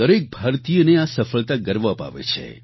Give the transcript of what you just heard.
દરેક ભારતીયને આ સફળતા ગર્વ અપાવે છે